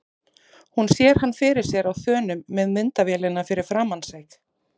Hún sér hann fyrir sér á þönum með myndavélina fyrir framan sig.